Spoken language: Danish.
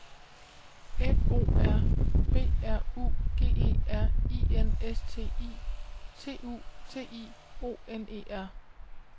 F O R B R U G E R I N S T I T U T I O N E R